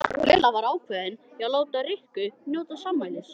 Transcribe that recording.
Lilla var ákveðin í að láta Rikku njóta sannmælis.